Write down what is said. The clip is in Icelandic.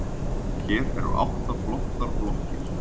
Hér eru átta flottar blokkir.